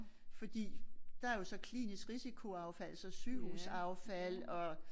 Fordi der jo så klinisk risikoaffald så sygehusaffald og